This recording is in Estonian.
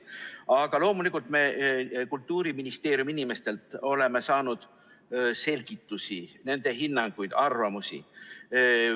Aga loomulikult oleme Kultuuriministeeriumi inimestelt saanud selgitusi, nende hinnanguid, arvamusi.